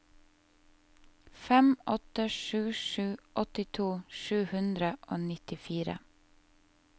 fem åtte sju sju åttito sju hundre og nittifire